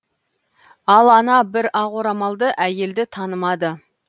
ал ана бір ақ орамалды әйелді танымады